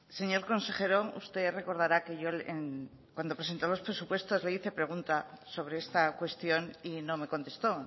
señor consejero usted recordará que yo cuando presentó los presupuestos le hice pregunta sobre esta cuestión y no me contestó